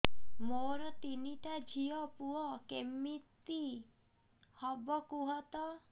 ମୋର ତିନିଟା ଝିଅ ପୁଅ କେମିତି ହବ କୁହତ